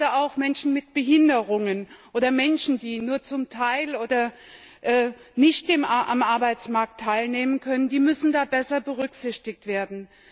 Gerade Menschen mit Behinderungen oder Menschen, die nur zum Teil oder nicht am Arbeitsmarkt teilnehmen können, müssen da besser berücksichtigt werden.